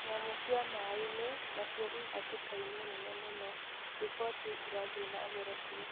Nyamũ cia maĩini nacio ihatĩkaini nene mũno riboti ĩkathii nambere kuuga